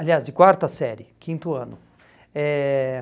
Aliás, de quarta série, quinto ano. Eh